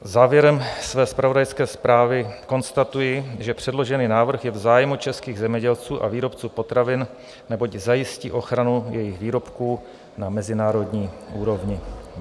Závěrem své zpravodajské zprávy konstatuji, že předložený návrh je v zájmu českých zemědělců a výrobců potravin, neboť zajistí ochranu jejich výrobků na mezinárodní úrovni.